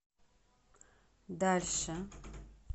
дальше